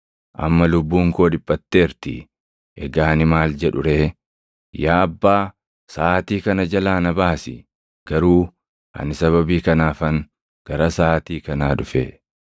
“Amma lubbuun koo dhiphatteerti; egaa ani maal jedhu ree? ‘Yaa Abbaa, saʼaatii kana jalaa na baasi;’ garuu ani sababii kanaafan gara saʼaatii kanaa dhufe.